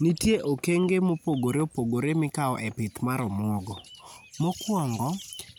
Nitie okenge mopogore opogore mikawo e pith mar omuogo. Mokuongo